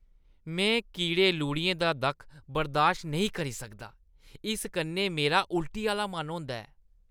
में कीड़े-लुढ़ियें दा दक्ख बर्दाश्त नेईं करी सकदा; इस कन्नै मेरा उल्टी आह्‌ला मन होंदा ऐ।